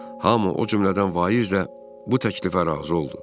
Hamı, o cümlədən vaiz də bu təklifə razı oldu.